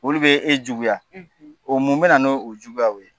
Olu bɛ e juguya o mun bɛna n'o o juguyaw ye